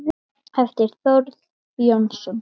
eftir Þórð Jónsson